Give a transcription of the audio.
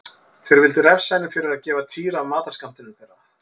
Þeir vildu refsa henni fyrir að gefa Týra af matarskammtinum þeirra.